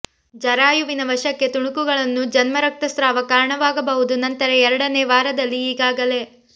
ಜರಾಯುವಿನ ವಶಕ್ಕೆ ತುಣುಕುಗಳನ್ನು ಜನ್ಮ ರಕ್ತಸ್ರಾವ ಕಾರಣವಾಗಬಹುದು ನಂತರ ಎರಡನೇ ವಾರದಲ್ಲಿ ಈಗಾಗಲೇ